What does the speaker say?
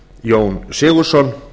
jón sigurðsson